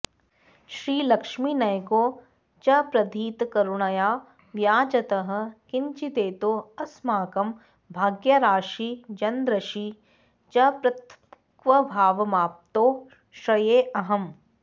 श्रीलक्ष्मीनयकौ च प्रधितकरुणया व्याजतः किञ्चिदेतौ अस्माकं भाग्याराशी जनदृशि च पृथग्भावमाप्तौ श्रयेऽहम्